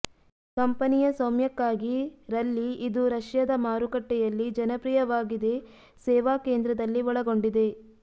ಕಂಪನಿಯ ಸ್ವಾಮ್ಯಕ್ಕಾಗಿ ರಲ್ಲಿ ಇದು ರಷ್ಯಾದ ಮಾರುಕಟ್ಟೆಯಲ್ಲಿ ಜನಪ್ರಿಯವಾಗಿದೆ ಸೇವಾ ಕೇಂದ್ರದಲ್ಲಿ ಒಳಗೊಂಡಿದೆ